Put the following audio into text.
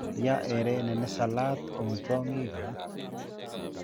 Yaa herene nisalat om chong'ik alage.